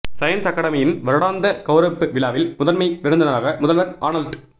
science அக்கடமியின் வருடாந்த கௌரவிப்பு விழாவில் முதன்மை விருந்தினராக முதல்வர் ஆனல்ட்